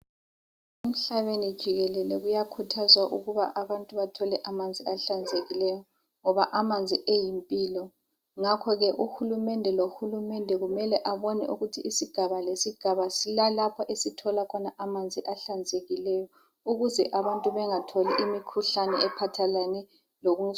Emhlabeni jikelele kuyakhuthazwa ukuba abantu bathole amanzi ahlanzekileyo ngoba amanzi ayimpilo. Ngakho-ke uhulumende lohulumende kumele abone ukuthi isigaba lesigaba silalapho sesithola khona amanzi ahlanzekileyo ukuze abantu bangatholi imikhuhlane ephathelane lokungcola.